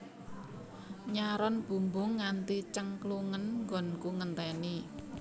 Nyaron bumbung nganti cengklungen nggonku ngenteni